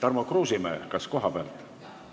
Tarmo Kruusimäe, kas kohalt?